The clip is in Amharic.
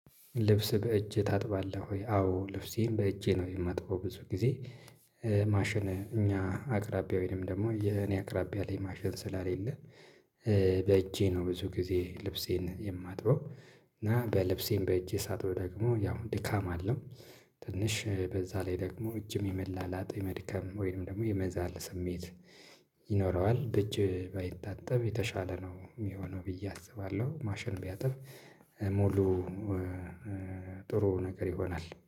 ልብስ በእጅህ ታጥባለህ ወይ? አዎ ልብሴን በእጄ ነው የማጥበው ብዙ ጊዜ ማሽን እኛ አቅራቢያ ወይም ደግሞ የኔ አቅራቢያ ላይ ማሸን ስላሌለ በእጄ ነው ብዙ ጊዜ ልብሴን የማጥበው። እና በልብሴን በእጄ ሳጥብ ደግሞ ያው ድካም አለው። ትንሽ በዛ ላይ ደግሞ እጅም የመላላጥ የመድከም ወይም ደግሞ የመዛል ስሜት ይኖረዋል በእጅ ባይታጠብ የተሻለ ነው የሚሆነው ብዬ አስባለሁ። ማሽን ቢያጥብ ሙሉ ጥሩ ነገር ይሆናል